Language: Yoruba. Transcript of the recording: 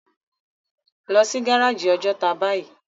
Lò si gáráji Òjòtá báyi